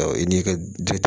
I n'i ka jate